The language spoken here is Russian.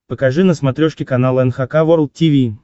покажи на смотрешке канал эн эйч кей волд ти ви